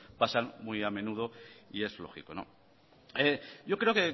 pasan muy a menudo y es lógico yo creo